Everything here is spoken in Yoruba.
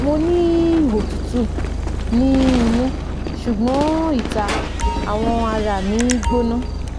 mo ni otutu ni inu sugbon ita awọn ara mi gbona